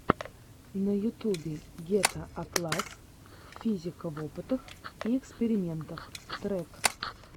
на ютюбе гетаакласс физика в опытах и экспериментах трек